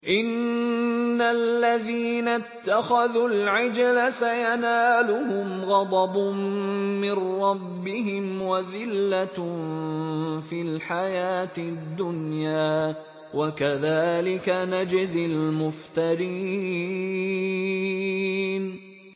إِنَّ الَّذِينَ اتَّخَذُوا الْعِجْلَ سَيَنَالُهُمْ غَضَبٌ مِّن رَّبِّهِمْ وَذِلَّةٌ فِي الْحَيَاةِ الدُّنْيَا ۚ وَكَذَٰلِكَ نَجْزِي الْمُفْتَرِينَ